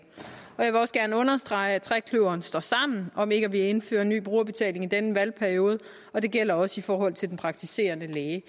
vil også gerne understrege at trekløveret står sammen om ikke at ville indføre ny brugerbetaling i denne valgperiode og det gælder også i forhold til den praktiserende læge